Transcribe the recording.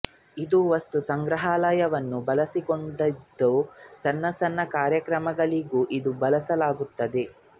ಇದು ವಸ್ತು ಸಂಗ್ರಹಾಲಯವನ್ನು ಒಳಗೊಂಡಿದ್ದು ಸಣ್ಣ ಸಣ್ಣ ಕಾರ್ಯಕ್ರಮಗಳಿಗೂ ಇದನ್ನು ಬಳಸಲಾಗುತ್ತದೆ